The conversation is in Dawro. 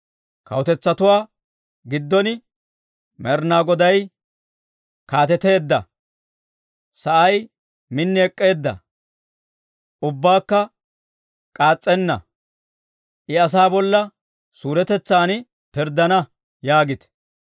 Kawutetsatuwaa giddon, «Med'inaa Goday kaateteedda! Sa'ay min ek'k'eedda; ubbakka k'aas's'enna. I asaa bolla suuretetsan pirddana» yaagite.